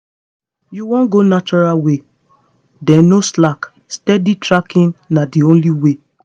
you wan go natural way? then no slack steady tracking na the only way.